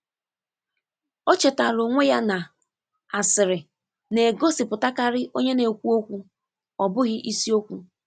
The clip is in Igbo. O chetaara onwe ya na asịrị na-egosipụtakarị onye na-ekwu okwu, ọ bụghị isiokwu.